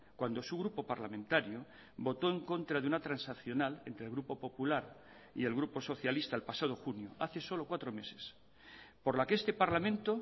cuando su grupo parlamentario votó en contra de una transaccional entre el grupo popular y el grupo socialista el pasado junio hace solo cuatro meses por la que este parlamento